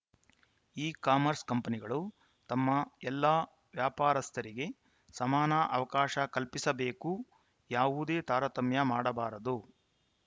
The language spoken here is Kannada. ಇ ಕಾಮರ್ಸ್‌ ಕಂಪನಿಗಳು ತಮ್ಮ ಎಲ್ಲಾ ವ್ಯಾಪಾರಸ್ಥರಿಗೆ ಸಮಾನ ಅವಕಾಶ ಕಲ್ಪಿಸಬೇಕು ಯಾವುದೇ ತಾರತಮ್ಯ ಮಾಡಬಾರದು